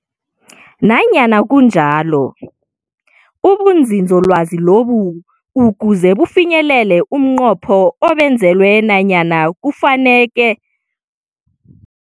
Nanyana kunjalo, ubunzinzolwazi lobu ukuze bufinyelele umnqopho obenzelwe bonyana kufuneka bonyana bube ne-inthanedi, Website Essentials 2024. Lokhu kusitjela bonyana ngaphandle kwe-inthanedi angekhe batholakala nanyana umuntu angeze angena kibo.